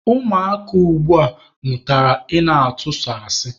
Ụmụaka ugbua mụtara ị na-ịtụ sọ asị.